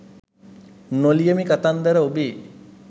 නො ලියමි කතන්දර ඔබේ